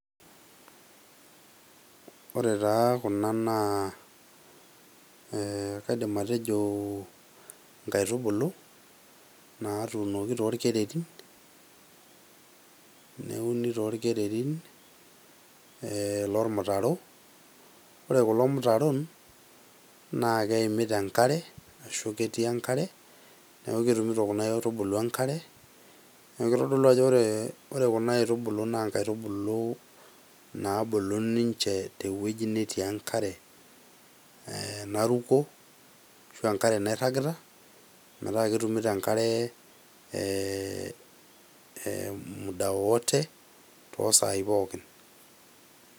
Ore taa Kuna naa kaidim atejo inkaitubulu naatunoki torkererin, neuni torkereri lormutaro ,ore kulo mutaron naa keimita enkare ashua ketii enkare neeku ketumito kuna aitubulu enkare neeku keitodolu ajo ore Kuna aitubulu naa nkaitubulu naabulu ninche teweji netii enkare eeh Naruto eshu enkare nairagita metaa ketumito enkare muda wowote toosai pookin.